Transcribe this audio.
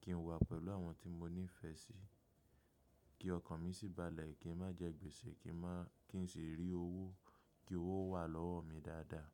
kí n wà pẹ̀lú àwọn tí mo nífẹ̀ẹ́ sí, kí ọkàn mi sì balẹ̀, kí n má jẹ gbèsè, kí n sì rí owó, kí owó wà lọ́wọ́ mi dáadáa.